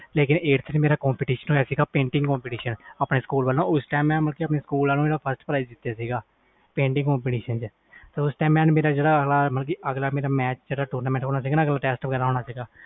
ਲੇਕਿਨ ਇਥੇ ਮੇਰਾ competition ਹੋਇਆ ਸੀ painting competition ਆਪਣੇ ਸਕੂਲ ਵਲੋਂ ਫਿਰ ਮੈਂ ਜਿਤਿਆ ਸੀ competition ਆਪਣੇ ਸਕੂਲ ਵਲੋਂ ਉਸ ਤੋਂ ਬਾਅਦ ਮੇਰਾ match ਜਿਹੜਾ ਹੋਣਾ ਸੀ tournament ਜਿਹੜਾ